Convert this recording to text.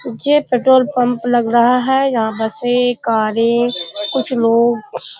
जे petrol pump लग रहा है। यहाँ से कारें कुछ लोग --